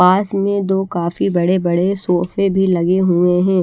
पास में जो काफी बड़े बड़े सोफे भी लगे हुए हैं।